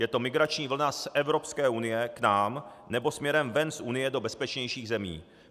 Je to migrační vlna z Evropské unie k nám nebo směrem ven z Unie do bezpečnějších zemí.